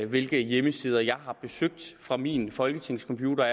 hvilke hjemmesider jeg har besøgt fra min folketingscomputer og